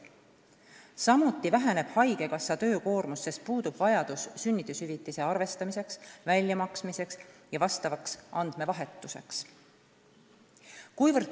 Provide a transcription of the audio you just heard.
Samuti väheneb haigekassa töökoormus, sest puudub vajadus sünnitushüvitise arvestamiseks, väljamaksmiseks ja asjaomaseks andmevahetuseks.